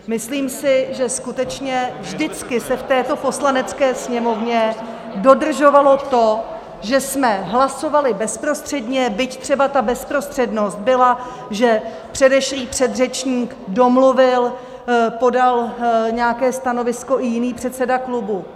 Myslím si, že skutečně vždycky se v této Poslanecké sněmovně dodržovalo to, že jsme hlasovali bezprostředně, byť třeba ta bezprostřednost byla, že předešlý předřečník domluvil, podal nějaké stanovisko i jiný předseda klubu.